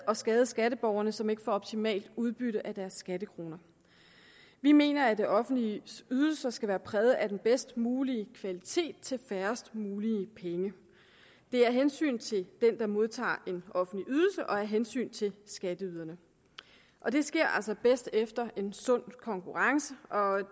og skade skatteborgerne som ikke får optimalt udbytte af deres skattekroner vi mener at det offentliges ydelser skal være præget af den bedst mulige kvalitet til færrest mulige penge det er af hensyn til den der modtager en offentlig ydelse og af hensyn til skatteyderne og det sker altså bedst efter en sund konkurrence